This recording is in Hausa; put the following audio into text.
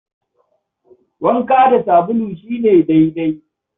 Wanka da sabulu shi ne daidai.